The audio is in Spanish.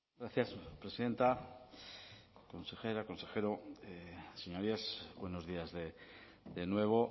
gracias presidenta consejera consejero señorías buenos días de nuevo